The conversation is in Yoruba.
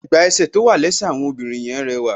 Ẹ̀gbà ẹsẹ̀ tó wà lẹ́sẹ̀ àwọn obìnrin yẹn rẹwà.